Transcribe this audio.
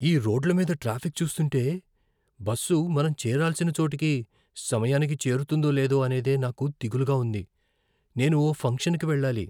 ఈ రోడ్ల మీద ట్రాఫిక్ చూస్తుంటే, బస్సు మనం చేరాల్సిన చోటుకి సమయానికి చేరుతుందో లేదో అనేదే నాకు దిగులుగా ఉంది. నేను ఓ ఫంక్షన్కి వెళ్ళాలి.